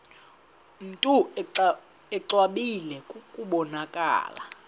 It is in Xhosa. mntu exwebile kubonakala